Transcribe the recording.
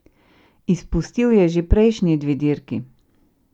Izpustil je že prejšnji dve dirki.